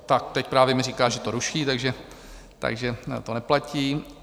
Tak teď právě mi říká, že to ruší, takže to neplatí.